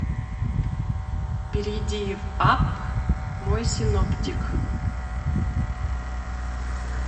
перейди в апп мой синоптик